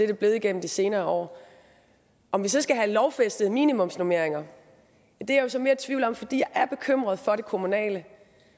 det blevet igennem de senere år om vi så skal have lovfæstede minimumsnormeringer er jeg så mere i tvivl om fordi jeg er bekymret for det kommunale